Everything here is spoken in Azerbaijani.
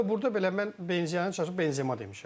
Hətta burda belə mən benziyanı çalışıb Benzema demişəm.